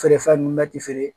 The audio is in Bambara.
Feere fɛn nun bɛ ti feere